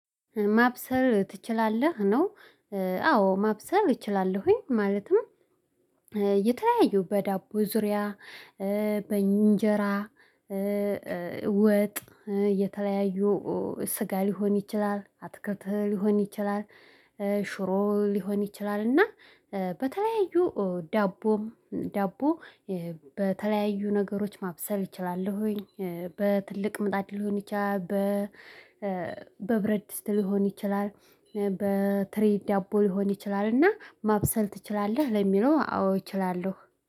ማብሰል ትችላለህ ነው? አዎ ማብሰል እችላለሁኝ ማለትም የተለያዩ በዳቦ ዙሪያ በእንጀራ ወጥ የተለያዩ ስጋ ሊሆን ይችላል አትክልት ሊሆን ይችላል። ሽሮ ሊሆን ይችላል እና በተለያዩ ዳቦም ዳቦ በተለያዩ ነገሮች ማብሰል እችላለሁኝ። በትልቅ ምጣድ ሊሆን ይችላል። በብረድስት ሊሆን ይችላል በትሬ ዳቦ ሊሆን ይችላል እና ማብሰል ትችላለህ ለሚለው አዎ እችላለሁ